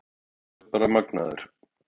Þú ert bara magnaður.